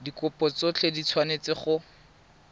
dikopo tsotlhe di tshwanetse go